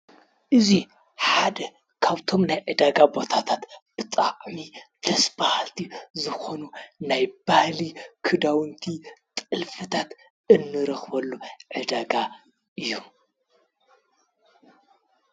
እዙይ ሓደ ካብቶም ናይ ዕዳጋ ቦታታት ብጣዕሚ ደስ በሃልቲ ዝኾኑ ናይ ባህሊ ክዳውንቲ ጥልፊታት እንረኽበሉ ዕዳጋ እዩ።